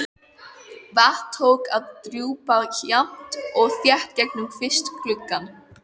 Vatn tók að drjúpa jafnt og þétt gegnum kvistgluggann.